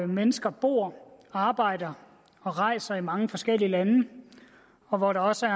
mennesker bor arbejder og rejser i mange forskellige lande og hvor der også